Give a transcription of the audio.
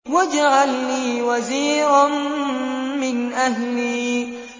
وَاجْعَل لِّي وَزِيرًا مِّنْ أَهْلِي